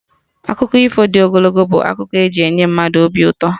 Akụkọ ifo dị ogologo bụ akụkọ e ji enye mmadụ obi ụtọ